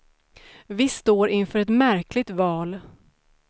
Vi står inför ett märkligt val.